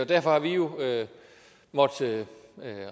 derfor har vi jo måttet